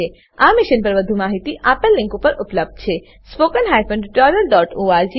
આ મિશન પર વધુ માહિતી નીચે દર્શાવેલ લીંક પર ઉપલબ્ધ છે